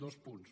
dos punts